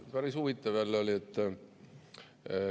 Päris huvitav oli jälle.